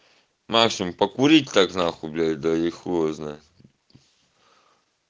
максимум покурить так нахуй блять да и хуй его знает